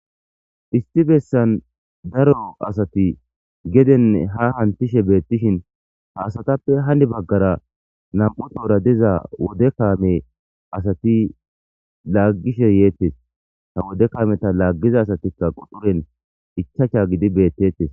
Issi bessan daaro asti gedene ha hametishshe betishin ha asatape hani baggara nam'u tohora diza wode kaame asati lagishshe yettes ha wodde kaameta lagiza asatika quxiren ichashsha gididi betetes.